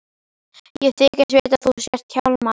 Ég þykist vita að þú sért Hjálmar.